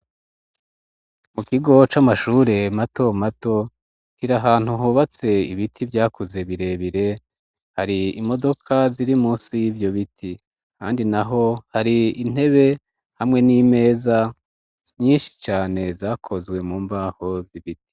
Mu kigo c'amashure mato mato kiri ahantu hubatse ibiti vyakuze birebire ,hari imodoka ziri munsi ivyo biti ,kandi naho hari intebe hamwe n'imeza nyinshi cane zakozwe mu mbaho z'ibiti.